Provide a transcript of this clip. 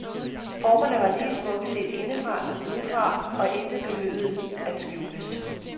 Formerne var lige smukke set indefra som udefra, og intet behøvede at skjules.